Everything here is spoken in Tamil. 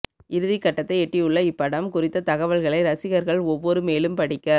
இறுதிக்கட்டத்தை எட்டியுள்ள இப்படம் குறித்த தகவல்களை ரசிகர்கள் ஒவ்வொரு மேலும் படிக்க